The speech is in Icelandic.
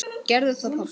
Gerðu það pabbi!